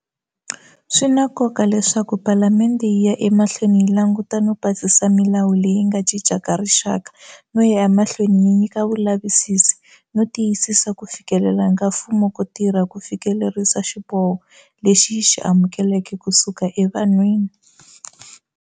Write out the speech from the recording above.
Swi na nkoka leswaku Palamende yi ya emahlweni yi languta no pasisa milawu leyi nga cincaka rixaka no ya emahlweni yi nyika vulavisisi no tiyisisa ku fikelela ka mfumo ko tirha ku fikelerisa xiboho lexi yi xi amukeleke ku suka evanhwini.